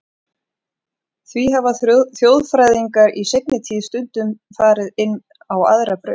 Því hafa þjóðfræðingar í seinni tíð stundum farið inn á aðra braut.